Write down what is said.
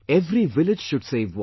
Every village should save water